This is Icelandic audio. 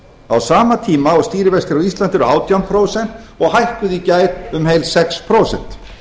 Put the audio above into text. á sama tíma og stýrivextir á íslandi eru átján prósent og hækkuðu í gær um heil sex prósent